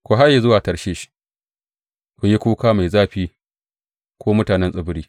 Ku haye zuwa Tarshish; ku yi kuka mai zafi, ku mutanen tsibiri.